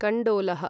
कण्डोलः